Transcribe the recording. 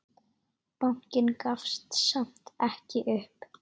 Bankinn gafst samt ekki upp.